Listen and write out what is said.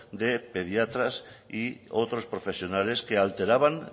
de pediatras y otros profesionales que alteraban